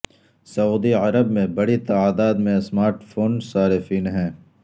سعودی عرب میں بڑی تعداد میں سمارٹ فون صارفین ہیں